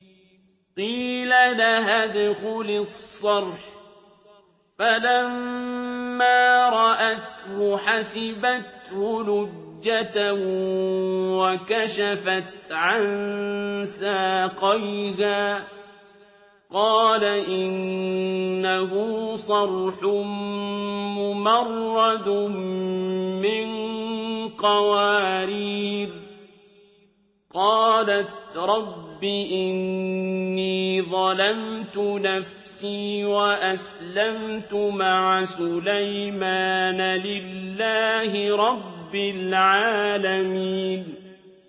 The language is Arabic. قِيلَ لَهَا ادْخُلِي الصَّرْحَ ۖ فَلَمَّا رَأَتْهُ حَسِبَتْهُ لُجَّةً وَكَشَفَتْ عَن سَاقَيْهَا ۚ قَالَ إِنَّهُ صَرْحٌ مُّمَرَّدٌ مِّن قَوَارِيرَ ۗ قَالَتْ رَبِّ إِنِّي ظَلَمْتُ نَفْسِي وَأَسْلَمْتُ مَعَ سُلَيْمَانَ لِلَّهِ رَبِّ الْعَالَمِينَ